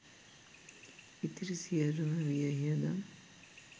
ඉතිරි සියලුම වියහියදම්